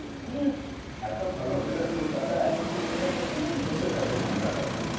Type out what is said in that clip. উম এত ভালো weather কলকাতায় আছে। কলকাতায় থাকব না তো দেশে থাকব ঠান্ডা কালে।